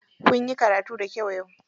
Kunyi karatu da kyau yau?